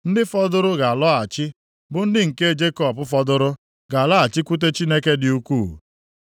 Ndị fọdụrụ ga-alọghachi, bụ ndị Nke Jekọb fọdụrụ ga-alọghachikwute Chineke dị ukwuu.